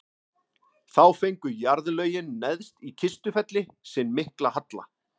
þá fengu jarðlögin neðst í kistufelli sinn mikla halla